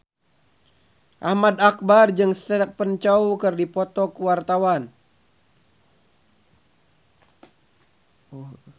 Ahmad Albar jeung Stephen Chow keur dipoto ku wartawan